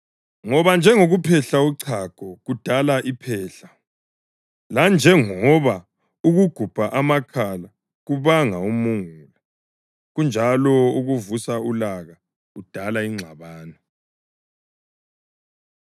Ngoba njengokuphehla uchago kudala iphehla, lanjengoba ukugubha amakhala kubanga umungula, kunjalo ukuvusa ulaka kudala ingxabano.”